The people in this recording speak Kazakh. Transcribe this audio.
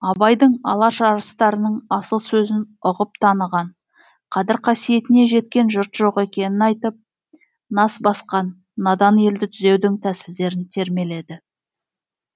абайдың алаш арыстарының асыл сөзін ұғып таныған қадір қасиетіне жеткен жұрт жоқ екенін айтып нас басқан надан елді түзеудің тәсілдерін термеледі